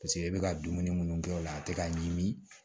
Paseke i bɛ ka dumuni minnu kɛ o la a tɛ ka ɲimi